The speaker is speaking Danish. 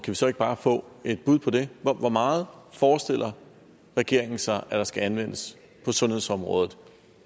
vi så ikke bare få et bud på det hvor meget forestiller regeringen sig der skal anvendes på sundhedsområdet